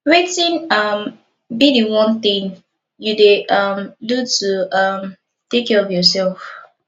wetin um be di one thing you dey um do to um take care of yourself